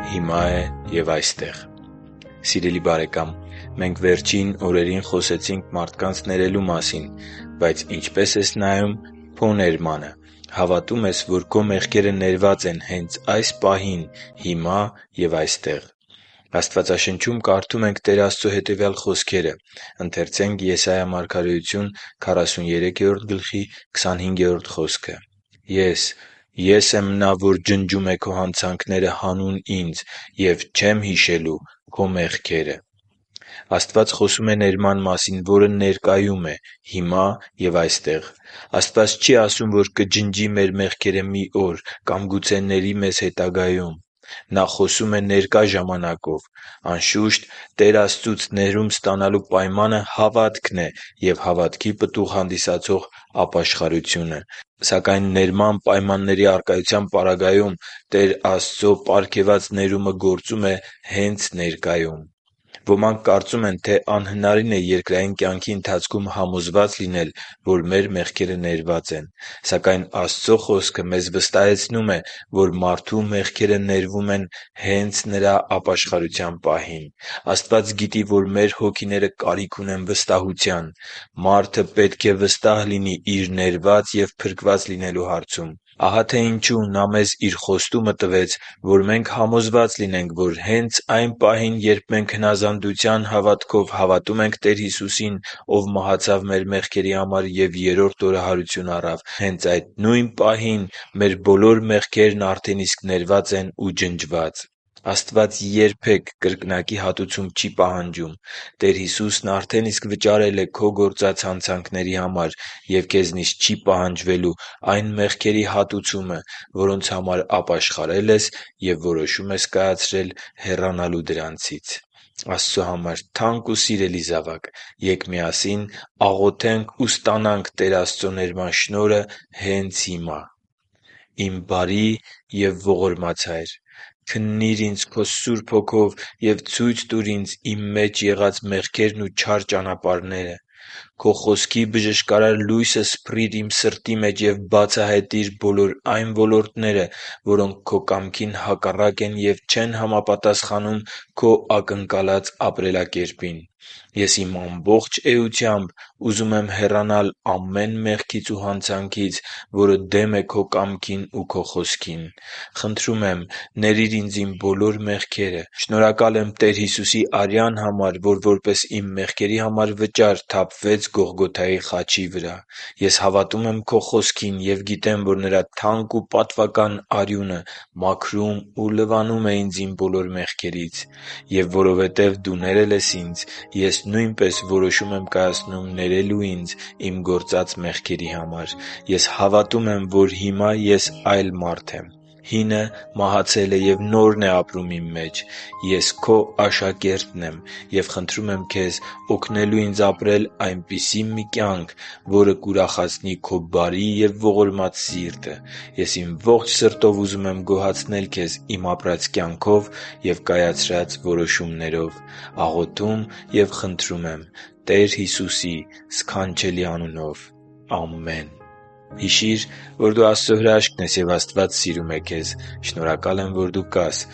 հիմա է և այստեղ․․․ Սիրելի՛ բարեկամ, մենք վերջին օրերին խոսեցինք մարդկանց ներելու մասին, բայց ինչպե՞ս ես նայում քո ներմանը։ Հավատո՞ւմ ես, որ քո մեղքերը ներված են հենց այս պահին՝ հիմա և այստեղ: Աստվածաշնչում կարդում ենք Տեր Աստծո հետևյալ խոսքերը. «Ես, Ե՛ս եմ Նա, որ ջնջում է քո հանցանքները հանուն Ինձ, և չեմ հիշելու քո մեղքերը» (Եսայի 43․25)։ Աստված խոսում է ներման մասին, որը ներկայում է՝ հիմա և այստեղ: Աստված չի ասում, որ կջնջի մեր մեղքերը մի օր, կամ գուցե ների մեզ հետագայում։ Նա խոսում է ներկա ժամանակով։ Անշուշտ, Տեր Աստծուց ներում ստանալու պայմանը հավատքն է և հավատքի պտուղ հանդիսացող ապաշխարությունը։ Սակայն ներման պայմանների առկայության պարագայում Տեր Աստծո պարգևած ներումը գործում է հե՛նց ներկայում։ Ոմանք կարծում են, թե անհնարին է երկրային կյանքի ընթացքում համոզված լինել, որ մեր մեղքերը ներված են: Սակայն Աստծո Խոսքը մեզ վստահեցում է, որ մարդու մեղքերը ներվում են հե՛նց նրա ապաշխարության պահին։ Աստված գիտի, որ մեր հոգիները կարիք ունեն վստահության։ Մարդը պետք է վստահ լինի Իր ներված և փրկված լինելու հարցում։ Ահա թե ինչու Նա մեզ Իր խոստումը տվեց, որ մենք համոզված լինենք, որ հենց այն պահին, երբ մենք հնազանդության հավատքով հավատում ենք Տեր Հիսուսին, Ով մահացավ մեր մեղքերի համար և երրորդ օրը հարություն առավ, հե՛նց այդ նույն պահին մեր բոլոր մեղքերն արդեն իսկ ներված են ու ջնջված: Աստված երբեք կրկնակի հատուցում չի պահանջում: Տեր Հիսուսն արդեն իսկ վճարել է քո գործած հանցանքների համար, և քեզնից չի պահանջվելու այն մեղքերի հատուցումը, որոնց համար ապաշխարել ես և որոշում ես կայացրել հեռանալու դրանցից։ Աստծո համար թանկ ու սիրելի՛ զավակ, ե՛կ միասին աղոթենք ու ստանանք Տեր Աստծո ներման շնորհը հենց հիմա․ «Իմ բարի և ողորմած երկնային Հա՛յր, քննի՛ր ինձ Քո Սուրբ Հոգով և ցույց տուր ինձ, իմ մեջ եղած մեղքերն ու չար ճանապարհները: Քո Խոսքի բժշկարար լույսը սփռի՛ր իմ սրտի մեջ և բացահայտի՛ր բոլոր այն ոլորտները, որոնք Քո կամքին հակառակ են և չեն համապատասխանում Քո ակնկալած ապրելակերպին։ Ես իմ ամբողջ էությամբ ուզում եմ հեռանալ ամեն մեղքից ու հանցանքից, որը դեմ է Քո կամքին ու Քո Խոսքին։ Խնդրում եմ՝ ների՛ր ինձ իմ բոլոր մեղքերը: Շնորհակալ եմ Տեր Հիսուսի արյան համար, որ որպես իմ մեղքերի համար վճար թափվեց Գողգոթայի խաչի վրա։ Ես հավատում եմ Քո Խոսքին և գիտեմ, որ Նրա թանկ ու պատվական արյունը մաքրում ու լվանում է ինձ իմ բոլոր մեղքերից: Եվ որովհետև Դու ներել ես ինձ, ես նույնպես որոշում եմ կայացնում ներելու ինձ իմ գործած մեղքերի համար: Ես հավատում եմ, որ հիմա ես այլ մարդ եմ։ Հինը մահացել է, և նորն է ապրում իմ մեջ։ Ես Քո աշակերտն եմ և խնդրում եմ Քեզ օգնելու ինձ ապրել այնպիսի մի կյանք, որը կուրախացնի Քո բարի և ողորմած սիրտը։ Ես իմ ողջ սրտով ուզում եմ գոհացնել Քեզ իմ ապրած կյանքով ու կայացրած որոշումներով։ Աղոթում և խնդրում եմ Տեր Հիսուսի սքանչելի անունով։ Ամեն»։ Հիշի՛ր, որ դու Աստծո հրաշքն ես, և Աստված սիրում է քեզ։ Շնորհակալ եմ, որ դու կա՛ս